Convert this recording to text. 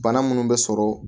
Bana munnu bɛ sɔrɔ